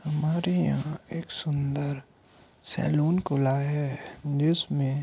हमारे यहां एक सुंदर सेलून खुला है जिसमें --